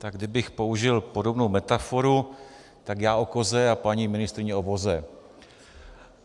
Tak kdybych použil podobnou metaforu, tak já o koze a paní ministryně o voze.